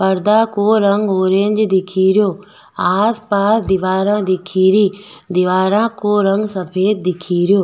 पर्दा को रंग ऑरेंज दिख रो आस पास दिवारा दिख री दिवारा को रंग सफ़ेद दिख रो।